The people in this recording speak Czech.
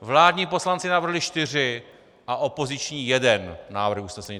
Vládní poslanci navrhli čtyři a opoziční jeden návrh usnesení.